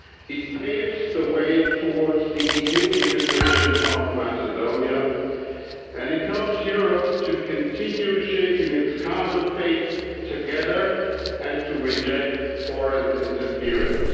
It paves the way towards the EU integration of Macedonia and it helps Europe to continue shaping its common fate together, and to reject foreign interference.